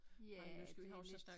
Ja det lidt